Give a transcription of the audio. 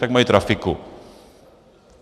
Takže mají trafiku.